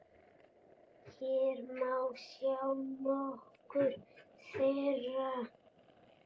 Hér má sjá nokkur þeirra.